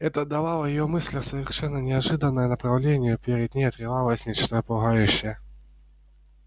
это давало её мыслям совершенно неожиданное направление перед ней открывалось нечто пугающее